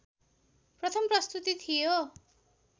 प्रथम प्रस्तुति थियो